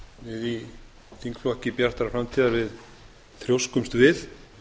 við í þingflokki bjartrar framtíðar við þrjóskumst við